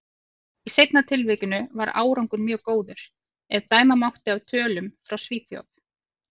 Í seinna tilvikinu var árangur mjög góður, ef dæma mátti af tölum frá Svíþjóð.